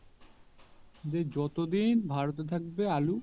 যে যত দিন ভারত এ থাকবে আলু